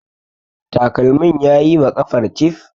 takalmin ya yi wa ƙafar cif